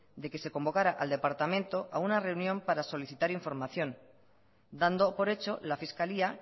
de que se convocara al departamento a una reunión para solicitar información dando por hecho la fiscalía